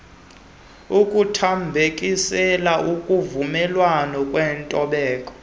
ukuthambekisela kuvumelwano kwintobeko